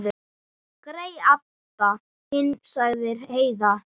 Grey Abba hin, sagði Heiða.